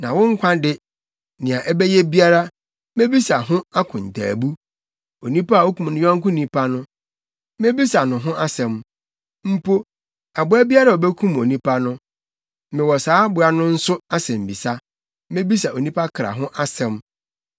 Na wo nkwa de, nea ɛbɛyɛ biara, mebisa ho akontaabu. Onipa a okum ne yɔnko nipa no, mebisa no ho asɛm. Mpo, aboa biara a obekum onipa no, mewɔ saa aboa no nso asɛmmisa. Mebisa onipa kra ho asɛm.